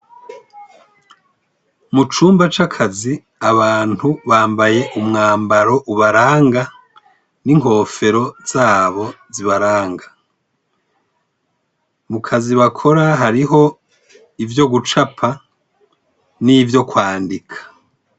Mu cumba c’akazi abantu bambaye umwambaro ubaranga, n’inkefero zabo zibaranga. Mu kazi bakora hariho ivyo gucapa nivyo kwandika.